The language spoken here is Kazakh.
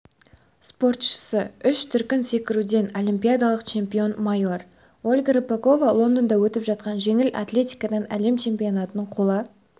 спортшысы үш дүркін секіруден олимпиадалық чемпион майор ольга рыпакова лондонда өтіп жатқан жеңіл атлетикаданәлем чемпионатының қола